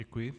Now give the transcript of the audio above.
Děkuji.